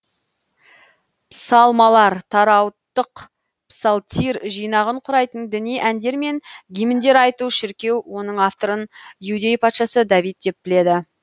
псалмалар таураттық псалтирь жинағын құрайтын діни әндер мен гимндер айту шіркеу оның авторын иудей патшасы давид деп біледі